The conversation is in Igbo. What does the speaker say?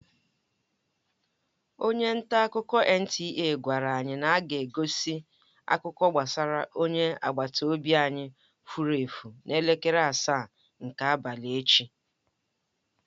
Onye ntaakụkọ NTA gwara anyị na aga-egosi akụkọ gbasara onye agbata obi anyị fụrụ efu n'elekere asaa nke abalị echi.